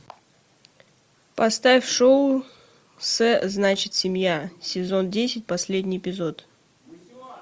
поставь шоу с значит семья сезон десять последний эпизод